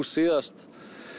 síðast